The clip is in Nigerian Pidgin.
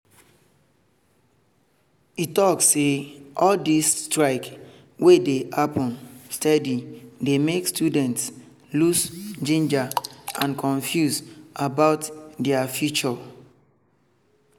e talk say all these strike wey dey happen steady dey make students lose ginger and confuse about their future